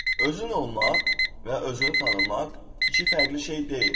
Özün olmaq və özünü tanımaq iki fərqli şey deyil.